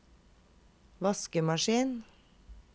vaskemaskin